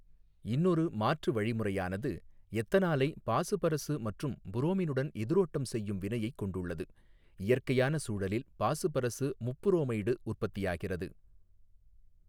இன்னொரு மாற்று வழிமுறையானது எத்தனாலை பாசுபரசு மற்றும் புரோமினுடன் எதிரோட்டம் செய்யும் வினையைக் கொண்டுள்ளது இயற்கையான சூழலில் பாசுபரசு முப்புரோமைடு உற்பத்தியாகிறது.